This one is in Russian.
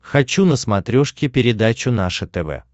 хочу на смотрешке передачу наше тв